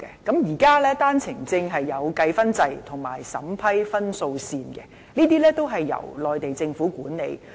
現時在單程證制度下設有打分制及審核分數線，這些均由內地政府管理。